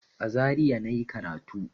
A Zaria na yi karatu.